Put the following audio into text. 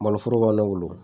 Maloforo b'an ne wolo